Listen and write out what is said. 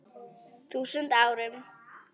þúsund árum.